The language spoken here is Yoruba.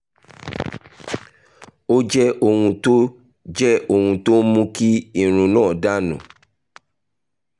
ó jẹ́ ohun tó jẹ́ ohun tó ń mú kí irun náà dà nù